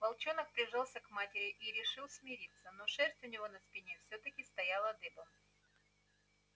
волчонок прижался к матери и решил смириться но шерсть у него на спине все таки стояла дыбом